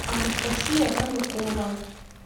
анастасия ванюкова